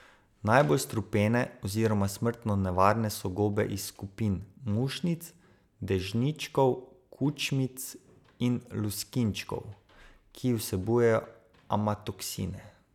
Najbolj strupene oziroma smrtno nevarne so gobe iz skupin mušnic, dežničkov, kučmic in luskinčkov, ki vsebujejo amatoksine.